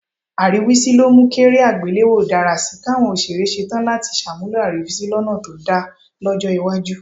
Àríwísí ló mú kéré àgbéléwò dára sí í, káwọn òṣèré ṣe tán láti ṣàmúlò àríwísí lọ́nà tó dà lọ́jọ́ iwájú